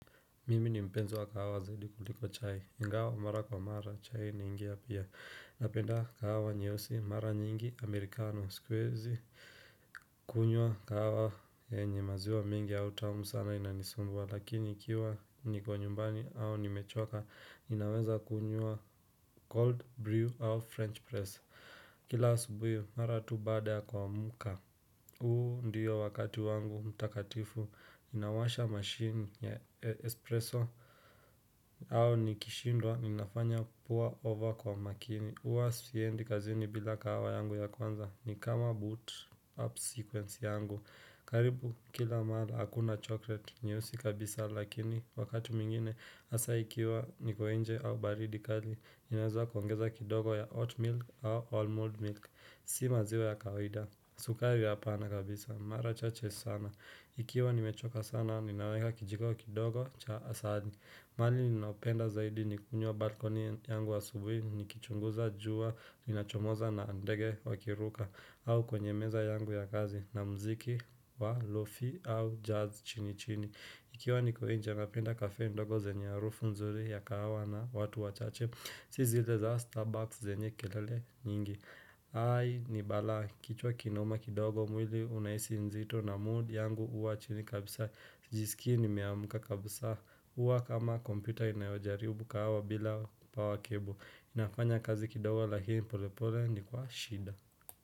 Mimi ni mpenzo wa kahawaze likuliko chai ingawa mara kwa mara chai ni ingia pia napenda kahawa nyeosi mara nyingi amerikano sikwezi. Kunywa kahawa enye maziwa mingi ya utamu sana inanisumbua lakini ikiwa nikwa nyumbani au nimechoka inaweza kunywa. Cold brew au french press kila subuhi mara tu bada kwa muka. Huu ndiyo wakati wangu mtakatifu inawasha machine ya espresso. Au nikishindwa ninafanya pua over kwa makini Uwa siendi kazini bila kawa yangu ya kwanza ni kama boot up sequence yangu. Karibu kila mada hakuna chocolate nyusi kabisa lakini wakatu mingine asa ikiwa nikoenje au baridikali Inazwa kwangeza kidogo ya oatmeal au almond milk. Si maziwa ya kawida sukari hapana kabisa, mara chache sana. Ikiwa nimechoka sana, ninaweka kijiko kidogo cha asali. Mali ninaopenda zaidi ni kunyo balkoni yangu wa subuhi, ni kichunguza juwa, ni nachomoza na andege wa kiruka, au kwenye meza yangu ya kazi na mziki wa lofi au jazz chini chini. Ikiwa niko enja napenda kafe ndogo zenye ya roofu nzuri ya kahawa na watu wa chache, Si zile za Starbucks zenye kelele nyingi. Hai ni bala kichwa kinuma kidogo mwili unaisi nzito na mood yangu uwa chini kabisa Sijisikini miamuka kabisa uwa kama kompita inayajaribu kawa bila power cable inafanya kazi kidogo lakini pole pole ni kwa shida.